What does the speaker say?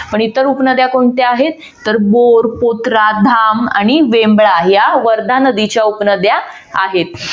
पण इतर उपनद्या कोणत्या आहेत तर बोर, पौत्रा, धाम आणि वेम्बला या वर्धा नदीच्या उपनद्या आहेत.